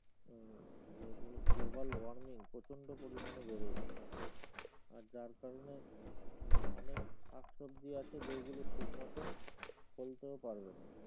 যে global warming প্রচন্ড পরিমাণে বেড়ে যাবে আর যার কারণে আহ অনেক শাকসবজি আছে যেগুলো ঠিক মতন ফলতেও পারবেনা।